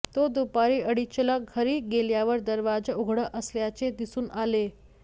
तो दुपारी अडीचला घरी गेल्यावर दरवाजा उघडा असल्याचे दिसून आले